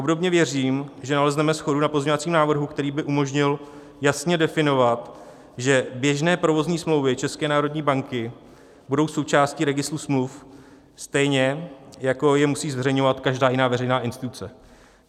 Obdobně věřím, že nalezneme shodu na pozměňovacím návrhu, který by umožnil jasně definovat, že běžné provozní smlouvy České národní banky budou součástí registru smluv, stejně jako je musí zveřejňovat každá jiná veřejná instituce.